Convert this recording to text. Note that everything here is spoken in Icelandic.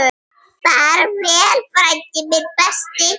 Far vel, frændi minn.